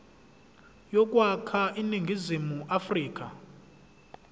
yokwakha iningizimu afrika